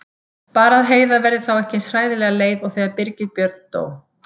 Bara að Heiða verði þá ekki eins hræðilega leið og þegar Birgir Björn dó.